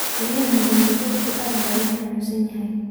Beriyahan dambe dadku aad ba loxanunsanyhy.